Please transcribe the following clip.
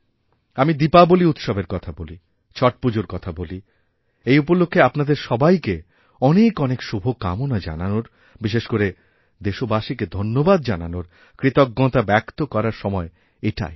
আমি দীপাবলী উৎসবের কথা বলি ছট পুজোর কথা বলি এই উপলক্ষ্যেআপনাদের সবাইকে অনেক অনেক শুভকামনা জানানোর বিশেষ করে দেশবাসীকে ধন্যবাদ জানানোরকৃতজ্ঞতা ব্যক্ত করার সময় এটাই